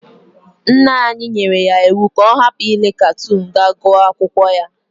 Nna anyi yere ya iwu ga o hapu ile katon ga gu akwokwo ya.